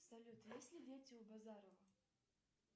салют есть ли дети у базарова